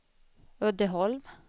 Uddeholm